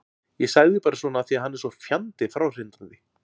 Ég sagði bara svona af því að hann er svo fjandi fráhrindandi.